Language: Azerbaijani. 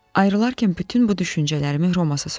Ayrılarkən bütün bu düşüncələrimi Romassa söylədim.